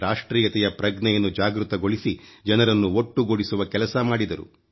ರಾಷ್ಟ್ರೀಯತೆಯ ಪ್ರಜ್ಞೆಯನ್ನು ಜಾಗೃತಗೊಳಿಸಿ ಜನರನ್ನು ಒಟ್ಟುಗೂಡಿಸುವ ಕೆಲಸ ಮಾಡಿದರು